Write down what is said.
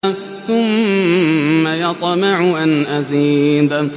ثُمَّ يَطْمَعُ أَنْ أَزِيدَ